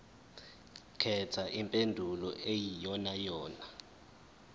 khetha impendulo eyiyonayona